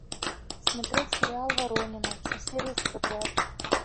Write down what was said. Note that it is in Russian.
смотреть сериал воронины все серии подряд